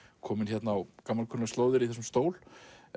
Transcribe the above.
kominn á gamalkunnar slóðir í þessum stól